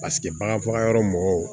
Paseke bagan faga yɔrɔ mɔgɔw